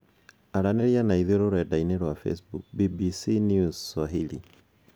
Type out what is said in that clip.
Aranĩria na ithuĩ rurendainĩ rwa Facebook, BBC NewsSwahili.